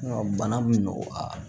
Bana bɛ nɔgɔya